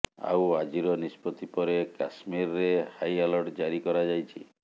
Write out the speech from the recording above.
ଆଉ ଆଜିର ନିଷ୍ପତ୍ତି ପରେ କାଶ୍ମୀରରେ ହାଇ ଆଲର୍ଟ ଜାରି କରାଯାଇଛି